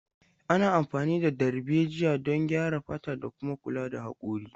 Ana amfani da darbejiya don graya fata da kuma kula da hakori.